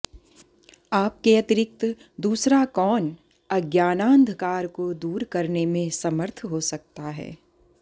आपके अतिरिक्त दूसरा कौन आज्ञानान्धकारको दूर करनेमें समर्थ हो सकता है